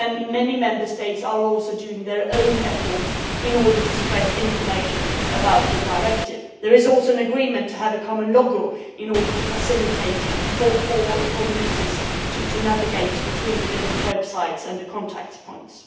Many Member States are also making their own efforts in order to spread information about the directive. There is also an agreement to have a common logo to make it easier for users to navigate between the different websites and the contact points.